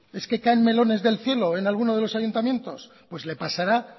es que caen melones del cielo en alguno de los ayuntamientos pues le pasará